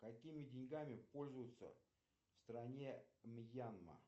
какими деньгами пользуются в стране мьянма